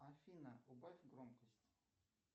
афина убавь громкость